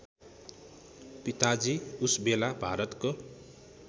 पिताजी उसबेला भारतको